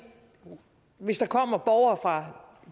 hvis der kommer borgere fra